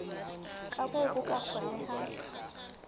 ka moo ho ka kgonehang